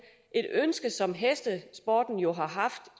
et ønske som hestesporten jo har haft